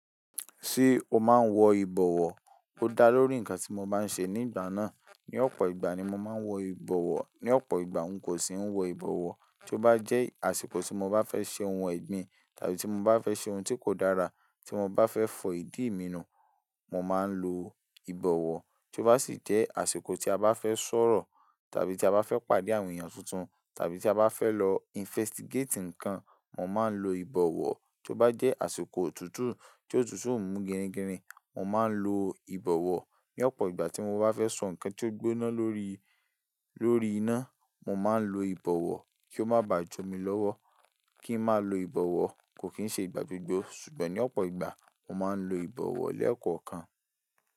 Ṣé o máa ń wọ ìbọ̀wọ́? Ó dá lórí ǹkan tí mo bá ń ṣe ní ìgbà náà. Ni ọ̀pọ̀ ìgbà ni mo máa ń wọ ìbọ̀wọ́. Ni ọ̀pọ̀ ìgbà, n kò sì ń wọ ìbọ̀wọ́. Tí ó bá jẹ́ àsìkò tí mo bá fẹ́ ṣe ohun ẹ̀gbin, tàbí tí mo bá fẹ́ ṣe ohun tí kò dára, tí mo bá fẹ́ fọ ìdí mi nù, mo máa ń lo ìbọ̀wọ́. Tí ó bá sì jẹ́ àsìkò tí a bá fẹ́ sọ̀rọ̀, tàbí tí a bá fẹ́ pàdé àwọn èèyàn tuntun, tàbí tí a bá fẹ́ lọ investigate ǹkan, mo máa ń lo ìbọ̀wọ́. Tí ó bá jẹ́ àsìkò òtútù tí òtútù ò mú gẹríngẹrí, mo máa ń lo ìbọ̀wọ́. Ni ọ̀pọ̀ ìgbà tí mo bá fẹ́ sọ ǹkan tí ó gbóná lórí, lórí iná, mo máa ń lo ìbọ̀wọ́ kí ó má bà jo mi lọ́wọ́. Kí n máa lo ìbọ̀wọ́ kò kín ṣe ìgbà gbogbo, ṣùgbọ́n ní ọ̀pọ̀ ìgbà, mo máa ń lo ìbọ̀wọ́ lẹ́ẹ̀kan kan.